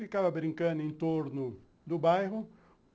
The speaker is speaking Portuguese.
Ficava brincando em torno do bairro.